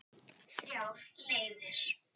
Þrjár leiðir.